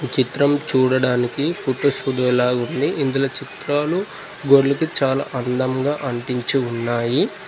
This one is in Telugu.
చిత్రం చూడడానికి ఫొటో స్టూడియో లా ఉంది ఇందులో చిత్రాలు గోడ్లకు చాలా అందంగా అంటించి ఉన్నాయి.